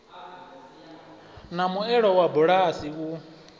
na muelo wa bulasi u